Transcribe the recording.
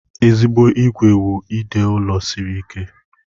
Ezigbo ìgwè wụ ide ụlọ siri ike.